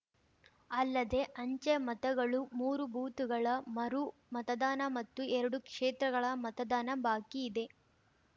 ಅಲ್ಲದೇ ಅಂಚೆ ಮತಗಳು ಮೂರು ಬೂತುಗಳ ಮರು ಮತದಾನ ಮತ್ತು ಎರಡು ಕ್ಷೇತ್ರಗಳ ಮತದಾನ ಬಾಕಿ ಇದೆ